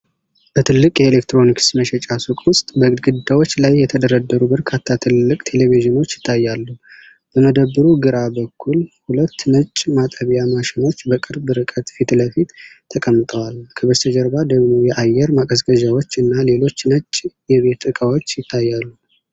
በትልቅ የኤሌክትሮኒክስ መሸጫ ሱቅ ውስጥ በግድግዳዎች ላይ የተደረደሩ በርካታ ትልልቅ ቴሌቪዥኖች ይታያል። በመደብሩ ግራ በኩል ሁለት ነጭ ማጠቢያ ማሽኖች በቅርብ ርቀት ፊት ለፊት ተቀምጠዋል፣ ከበስተጀርባ ደግሞ የአየር ማቀዝቀዣዎች እና ሌሎች ነጭ የቤት እቃዎች ይታያሉ።